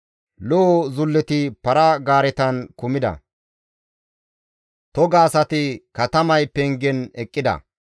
Lo7o zulleti para-gaaretan kumida; toga asati katamay pengen eqqida.